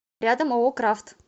рядом ооо крафт